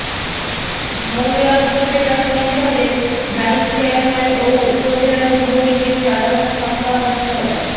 মোংলা উপজেলা পরিষদের vice chairman ও উপজেলা যুবলীগের সাধারণ সম্পাদক মো